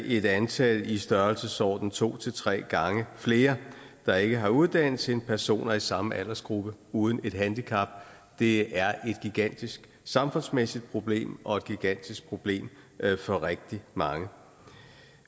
et antal i størrelsesordenen to tre gange flere der ikke har uddannelse end personer i samme aldersgruppe uden et handicap det er et gigantisk samfundsmæssigt problem og et gigantisk problem for rigtig mange